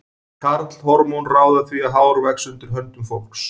Karlhormón ráða því að hár vex undir höndum fólks.